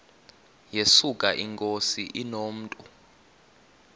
yesuka inkosi inomntu